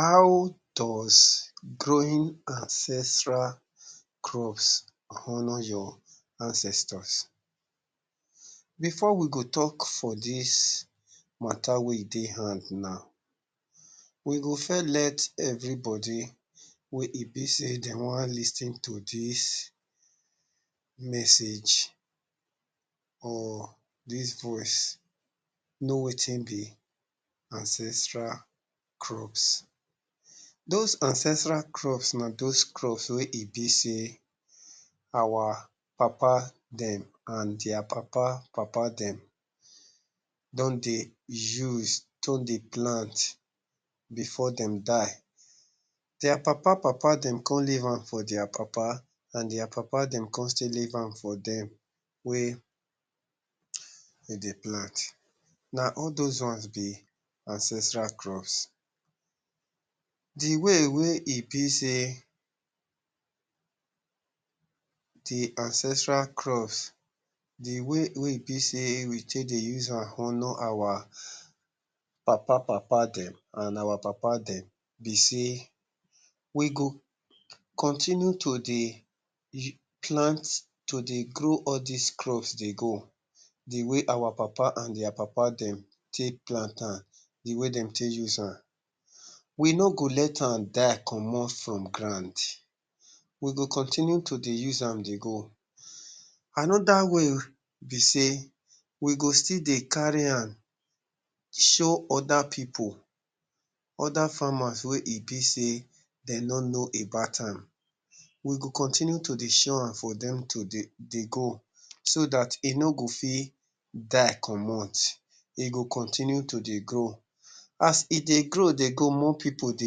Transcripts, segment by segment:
How does growing ancestral crops honour your ancestors? Before we go talk for dis matter wey e dey hand now, we go first let everybody wey e be sey dem one lis ten to dis message or dis voice know wetin be ancestral crops. Those ancestral crops na those crops wey e be sey our papa dem and their papa papa dem don dey use to dey plant before dem die. Their papa papa dem come leave am for their papa, and their papa dem come still leave am for dem wey dem dey plant. Na all those ones be ancestral crops. De way wey e be sey de ancestral crops, de way wey e be sey we take dey use am honour our papa papa dem and our papa dem be sey, we go continue to dey plant, to dey grow all dese crops dey go the way our papa and their papa dem take plant am, de way dem take use am. We no go let am die comot from ground. We go continue to dey use am dey go. Another way be sey, we go still dey carry am show other pipu, other farmers we e be sey dem no know about am. We go continue to dey show am for dem to dey, dey go so that e no go fit die comot. E go continue to dey grow. As e dey grow dey go, more people dey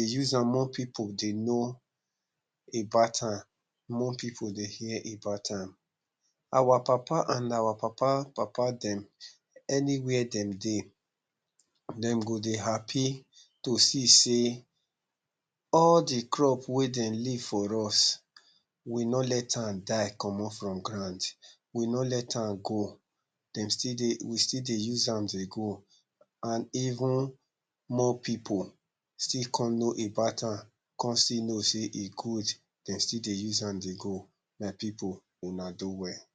use am, more people dey know about am, more pipu dey hear about am. Our papa and our papa papa dem anywhere dem dey, dem go dey happy to see sey all de crop wey dem leave for us, we no let am die comot from ground, we no let am go. Dem still dey we still dey use am dey go, and even more pipu still come know about am, come still know sey e good. Dem still dey use am dey go. My pipu, una do well.